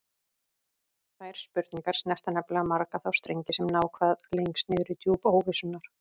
Þær spurningar snerta nefnilega marga þá strengi sem ná hvað lengst niður í djúp óvissunnar.